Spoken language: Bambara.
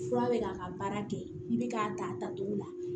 Fura bɛ k'a ka baara kɛ i bɛ k'a ta a tacogo la